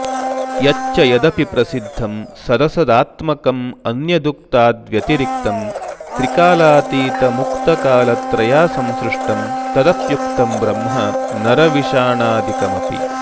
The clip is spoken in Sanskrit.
यच्च यदपि प्रसिद्धं सदसदात्मकमन्यदुक्ताद्व्यतिरिक्तं त्रिकालातीतमुक्तकालत्रयासंसृष्टं तदप्युक्तं ब्रह्म नरविषाणादिकमपि